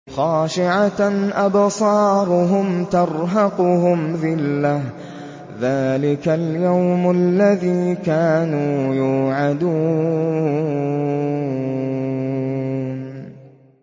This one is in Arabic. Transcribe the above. خَاشِعَةً أَبْصَارُهُمْ تَرْهَقُهُمْ ذِلَّةٌ ۚ ذَٰلِكَ الْيَوْمُ الَّذِي كَانُوا يُوعَدُونَ